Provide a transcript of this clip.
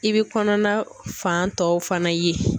I bɛ kɔnɔna fan tɔw fana ye.